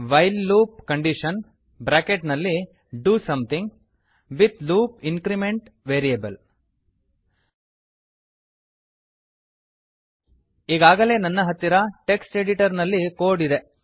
while loop condition bracket ನಲ್ಲಿ do something with loop increment variable ಈಗಾಗಲೇ ನನ್ನ ಹತ್ತಿರ ಟೆಕ್ಸ್ಟ್ ಎಡಿಟರ್ ನಲ್ಲಿ ಕೋಡ್ ಇದೆ